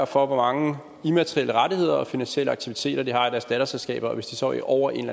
for hvor mange immaterielle rettigheder og finansielle aktiviteter de har i deres datterselskaber og hvis de så ligger over en